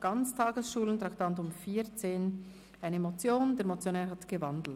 Der Motionär hat die Motion in ein Postulat umgewandelt.